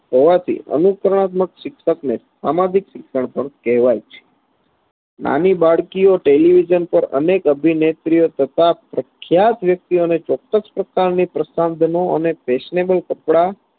હોવાથી અનુકરણાત્મક શિક્ષકને સામાજિક શિક્ષણ પણ કહેવાય છે નાની બાળકીઓ television પર અનેક અભિનેત્રીઓ તથા પ્રખ્યાત વ્યક્તિઓને ચોક્કસ પ્રકારના પ્રસાધનો અને fashionable કપડા